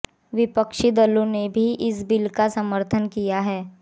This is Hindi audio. विपक्षी दलों ने भी इस बिल का समर्थन किया है